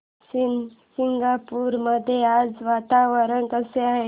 शनी शिंगणापूर मध्ये आज वातावरण कसे आहे